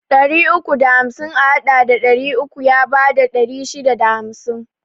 Ɗari uku da hamsin a haɗa da ɗari uku ya bada ɗari shida da hamsin